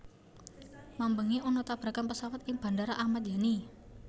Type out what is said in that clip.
Mambengi ana tabrakan pesawat ning Bandara Ahmad Yani